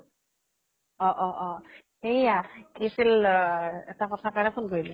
অ অ অ এইয়া কি আছিল আ এটা কথা কাৰণে phone কৰিলো।